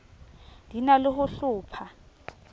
di na le ho hlopha